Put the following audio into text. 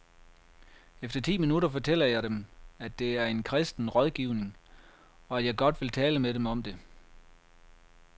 Efter ti minutter fortæller jeg dem, at det er en kristen rådgivning, og at jeg godt vil tale med dem om det.